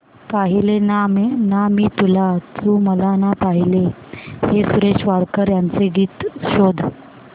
पाहिले ना मी तुला तू मला ना पाहिले हे सुरेश वाडकर यांचे गीत शोध